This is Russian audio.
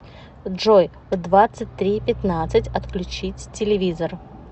джой в двадцать три пятнадцать отключить телевизор